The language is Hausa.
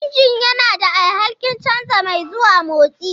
Injin yana da alhakin canza mai zuwa motsi.